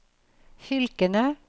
fylkene